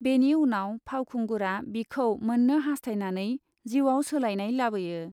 बेनि उनाव फावखुंगुरआ बिखौ मोन्नो हास्थायनानै जिउआव सोलायनाय लाबोयो।